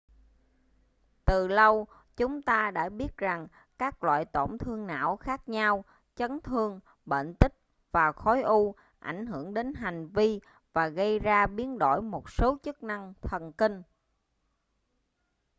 từ lâu chúng ta đã biết rằng các loại tổn thương não khác nhau chấn thương bệnh tích và khối u ảnh hưởng đến hành vi và gây ra biến đổi một số chức năng thần kinh